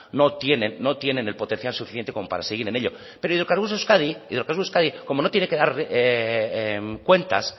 no tienen el potencial suficiente como para seguir en ello pero hidrocarburos euskadi como no tiene que dar cuentas